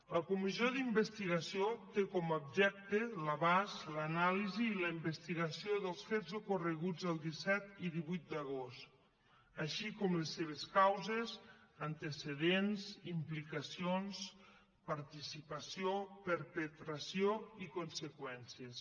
la comissió d’investigació té com a objecte l’abast l’anàlisi i la investigació dels fets ocorreguts el disset i divuit d’agost així com les seves causes antecedents implicacions participació perpetració i conseqüències